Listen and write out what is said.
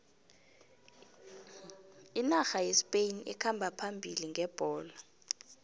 inarha yespain ikhamba phambili ngebholo